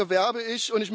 Dafür werbe ich.